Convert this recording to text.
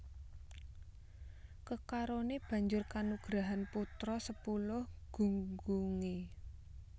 Kekaroné banjur kanugrahan putra sepuluh gunggungé